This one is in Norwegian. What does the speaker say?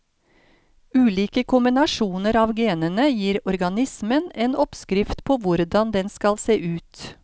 Ulike kombinasjoner av genene gir organismen en oppskrift på hvordan den skal se ut.